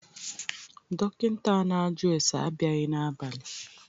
Dọkịnta a na-ajụ ase abịaghị n'abali.